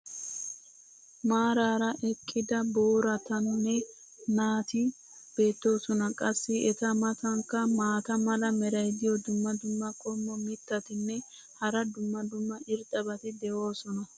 maaraara eqqida booratinne naati beetoosona. qassi eta matankka maata mala meray diyo dumma dumma qommo mitattinne hara dumma dumma irxxabati de'oosona.